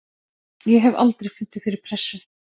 Ég hef aldrei fundið fyrir pressu.